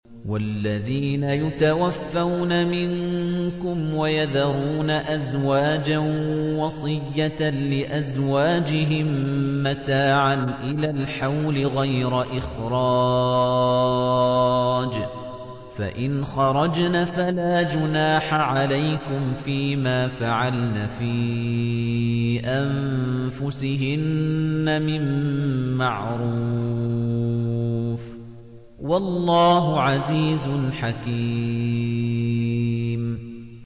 وَالَّذِينَ يُتَوَفَّوْنَ مِنكُمْ وَيَذَرُونَ أَزْوَاجًا وَصِيَّةً لِّأَزْوَاجِهِم مَّتَاعًا إِلَى الْحَوْلِ غَيْرَ إِخْرَاجٍ ۚ فَإِنْ خَرَجْنَ فَلَا جُنَاحَ عَلَيْكُمْ فِي مَا فَعَلْنَ فِي أَنفُسِهِنَّ مِن مَّعْرُوفٍ ۗ وَاللَّهُ عَزِيزٌ حَكِيمٌ